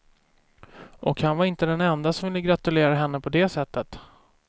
Och han var inte den ende som ville gratulera henne på det sättet.